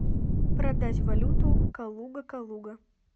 продать валюту калуга калуга